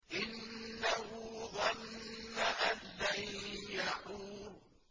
إِنَّهُ ظَنَّ أَن لَّن يَحُورَ